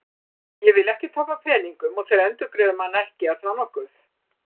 Ég vil ekki tapa peningum og þeir endurgreiða manni ekki, er það nokkuð?